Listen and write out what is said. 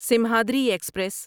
Simhadri express